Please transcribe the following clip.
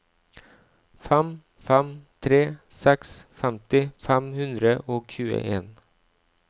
fem fem tre seks femti fem hundre og tjueen